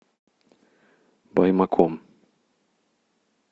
баймаком